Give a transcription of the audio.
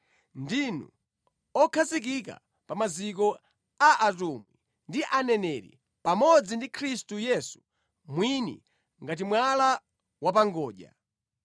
Ndinu okhazikika pa maziko a atumwi ndi a aneneri, pamodzi ndi Khristu Yesu mwini ngati mwala wa pa ngodya.